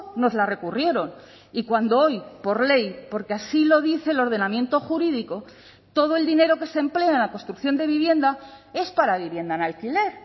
nos la recurrieron y cuando hoy por ley porque así lo dice el ordenamiento jurídico todo el dinero que se emplea en la construcción de vivienda es para vivienda en alquiler